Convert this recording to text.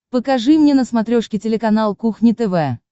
покажи мне на смотрешке телеканал кухня тв